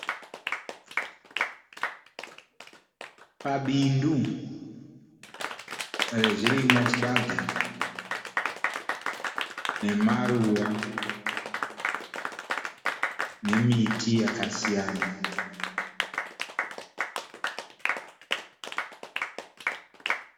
Pabindu rezvirimwa, chibage, nemaruva nemiti yakasiyana.